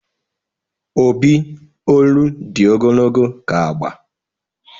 Obi olu di ogologo ka agba.